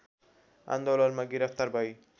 आन्दोलनमा गिरफ्तार भई